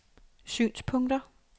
synspunkter